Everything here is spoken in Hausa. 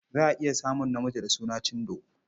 Za a iya samun namiji da suna Chindo.